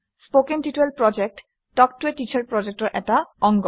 কথন শিক্ষণ প্ৰকল্প তাল্ক ত a টিচাৰ প্ৰকল্পৰ এটা অংগ